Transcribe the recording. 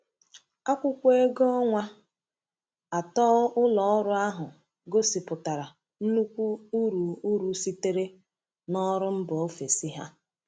Akwụkwọ ego ọnwa atọ ụlọ ọrụ ahụ gosipụtara nnukwu uru uru sitere n’ọrụ mba ofesi ha.